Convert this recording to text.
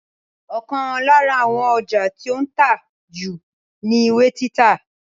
Ọ̀kan lára àwọn ọjà tí ó ń tà jù ni ìwé títa